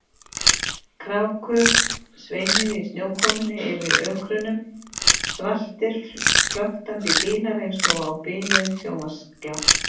Krákur sveimuðu í snjókomunni yfir ökrunum, svartir flöktandi dílar eins og á biluðum sjónvarpsskjá.